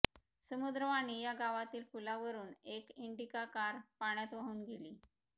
समुद्रवाणी या गावातील पुलावरून एक इंडिका कार पाण्यात वाहून गेली